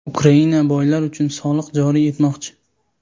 Ukraina boylar uchun soliq joriy etmoqchi.